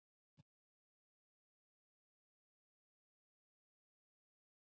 Erla: Ert þú búin að kaupa í jólamatinn?